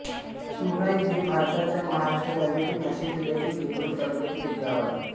शिवणाई हे भारताच्या महाराष्ट्र राज्यातील नाशिक जिल्ह्यातील दिंडोरी तालुक्यातील एक गाव आहे